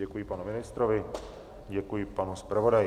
Děkuji panu ministrovi, děkuji panu zpravodaji.